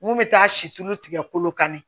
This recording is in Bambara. Mun bɛ taa si tulu tigɛ kolo kan de